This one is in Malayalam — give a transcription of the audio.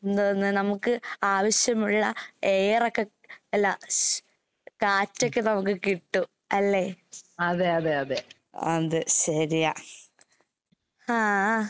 എന്താവുന്നെ നമുക്ക് ആവശ്യമുള്ള എയറൊക്കെ അല്ല ശ് കാറ്റൊക്കെ നമുക്ക് കിട്ടൂ. അല്ലേ? അതെ ശെരിയാ. ആഹ്.